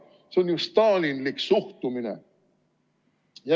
See on ju stalinlik suhtumine!